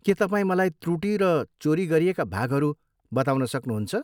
के तपाईँ मलाई त्रुटि र चोरी गरिएका भागहरू बताउन सक्नुहुन्छ?